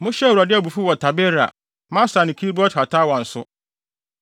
Mohyɛɛ Awurade abufuw wɔ Tabera, Masa ne Kibrot-Hataawa nso.